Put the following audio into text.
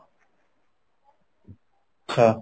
ଆଛା